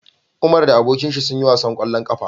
Umar da abokinshi sun yi wasan kwallo kafa